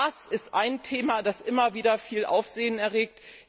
Gas ist ein Thema, das immer wieder viel Aufsehen erregt.